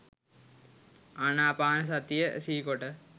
ආනපාන සතිය සිහිකොට